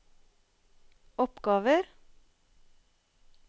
oppgaver